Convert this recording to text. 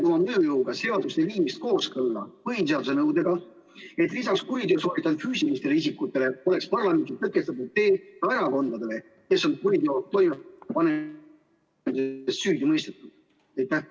Kas sa toetad seaduse viimist kooskõlla põhiseaduse nõudega, et lisaks kuriteo sooritanud füüsilistele isikutele oleks parlamenti tõkestatud tee ka erakondadele, kes on kuriteo toime panemises süüdi mõistetud?